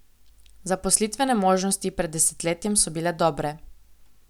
Zaposlitvene možnosti pred desetletjem so bile dobre.